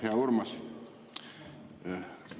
Hea Urmas!